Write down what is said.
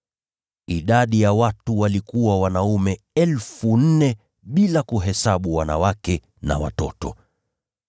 Idadi ya watu walikuwa wanaume 4,000, bila kuhesabu wanawake na watoto.